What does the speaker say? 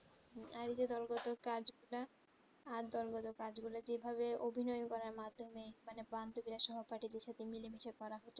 আর যে দোলগৰত কাজ আ দোল গেলো কাজ গুলু যে ভাবে অভিনয়ে করা মাধমেয়ে মানে সহপাঠী দের সাথে মিলে মিশে